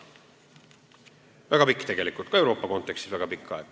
See on väga pikk aeg, seda ka Euroopa kontekstis.